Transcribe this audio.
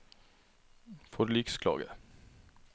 forliksklage